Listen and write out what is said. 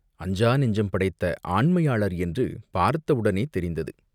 அஞ்சா நெஞ்சம் படைத்த ஆண்மையாளர் என்று பார்த்தவுடனே தெரிந்தது.